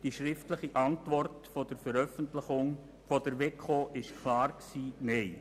Die schriftliche Antwort der WEKO lautete klar Nein.